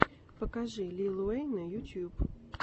покажи лил уэйна ютьюб